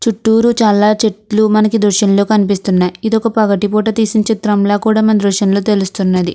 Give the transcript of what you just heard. చుట్టూరూ చాలా చెట్లు మనకు ఈ దృశ్యంలో కనిపిస్తున్నయి. ఇదొక పగటి పోట తీసిన చిత్రంలా కూడ మనకి దృశ్యంలో తెలుస్తున్నది.